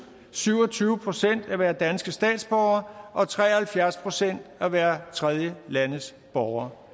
syv og tyve procent at være danske statsborgere og tre og halvfjerds procent at være tredjelandes borgere